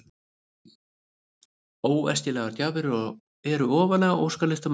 Óefnislegar gjafir eru ofarlega á óskalista margra.